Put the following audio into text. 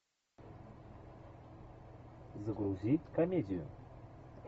загрузи комедию